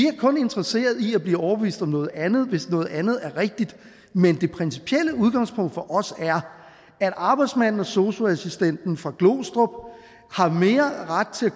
kun interesseret i at blive overbevist om noget andet hvis noget andet er rigtigt men det principielle udgangspunkt for os er at arbejdsmanden og sosu assistenten fra glostrup har mere ret til at